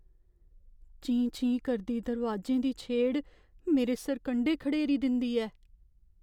चीं चीं करदी दरोआजें दी छेड़ मेरे सरकंडे खड़ेरी दिंदी ऐ।